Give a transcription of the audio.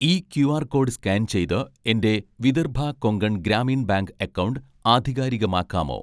ഈ QR code scan ചെയ്ത് എൻ്റെ വിദർഭ കൊങ്കൺ ഗ്രാമീൺ ബാങ്ക് അക്കൗണ്ട് ആധികാരികമാക്കാമോ?